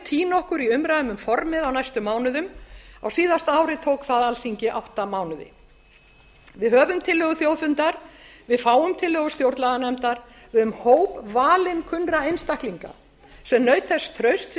týna okkur í umræðum um formið á næstu mánuðum á síðasta ári tók það alþingi átta mánuði við höfum tillögu þjóðfundar við fáum tillögur stjórnlaganefndar við höfum hóp valinkunnra einstaklinga sem naut þess trausts í